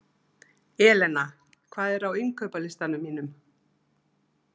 Elena, hvað er á innkaupalistanum mínum?